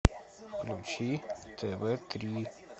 включи тв три